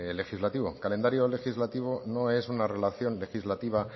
legislativo calendario legislativo no es una relación legislativa